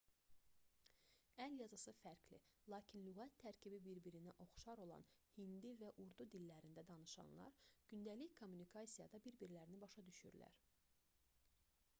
əl yazısı fərqli lakin lüğət tərkibi bir-birinə oxşar olan hindi və urdu dillərində danışanlar gündəlik kommunikasiyada bir-birlərini başa düşürlər